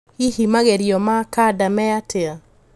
Hihi magerio ma kanda me atia?